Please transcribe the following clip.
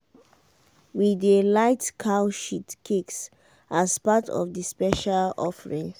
we dey light cow shit cakes as part of the special offering.